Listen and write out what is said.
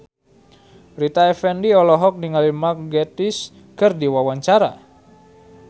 Rita Effendy olohok ningali Mark Gatiss keur diwawancara